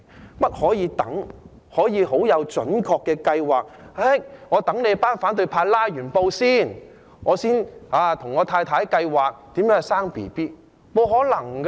難道可以等待、可以準確地計劃，等反對派"拉布"後再跟太太計劃如何生小孩嗎？